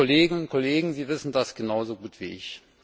Liebe Kolleginnen und Kollegen, Sie wissen das genauso gut wie ich.